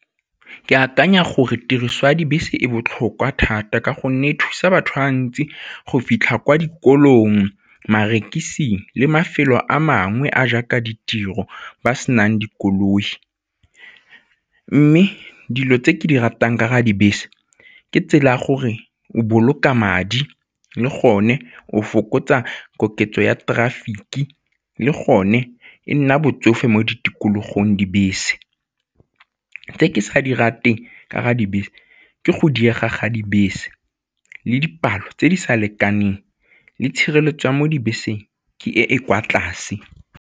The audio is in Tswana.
Ke akanya gore tiriso ya dibese e botlhokwa thata ka gonne e thusa batho ba ba ntsi go fitlha kwa dikolong, le mafelo a mangwe a jaaka ditiro ba senang dikoloi. Mme dilo tse ke di ratang ka ga dibese ke tsela ya gore o boloka madi le gone o fokotsa koketso ya traffic, le gone e nna botsofe mo tikologong dibese. Tse ke sa dira teng ka ga dibese ke go diega ga dibese le dipalo tse di sa lekaneng le tshireletso ya mo dibeseng ke e e kwa tlase.